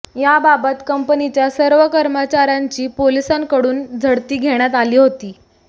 याबाबत कंपनीच्या सर्व कर्मचार्यांची पोलिसांकडून झडती घेण्यात आली होती